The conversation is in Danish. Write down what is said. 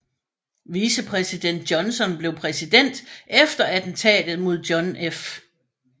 Vicepræsident Johnson blev præsident efter attentatet mod John F